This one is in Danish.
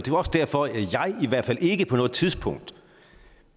også derfor at jeg i hvert fald ikke på noget tidspunkt